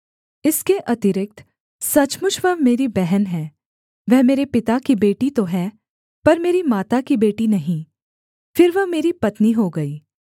इसके अतिरिक्त सचमुच वह मेरी बहन है वह मेरे पिता की बेटी तो है पर मेरी माता की बेटी नहीं फिर वह मेरी पत्नी हो गई